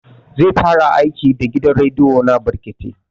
Zai fara aiki da gidan rediyo na brekete